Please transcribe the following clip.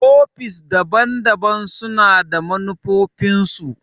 ofis daban-daban su na manufofin su.